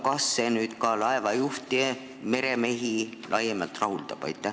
Kas see eelnõu ka laevajuhte, üldse meremehi rahuldab?